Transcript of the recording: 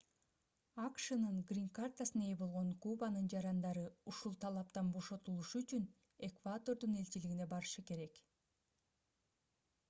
акшнын грин-картасына ээ болгон кубанын жарандары ушул талаптан бошотулушу үчүн эквадордун элчилигине барышы керек